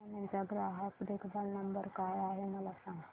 canon चा ग्राहक देखभाल नंबर काय आहे मला सांग